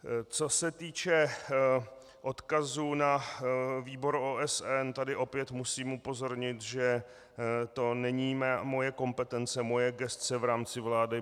Co se týče odkazu na výbor OSN, tady opět musím upozornit, že to není moje kompetence, moje gesce v rámci vlády.